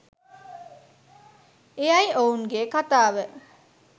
එයයි ඔවුන්ගේ කතාව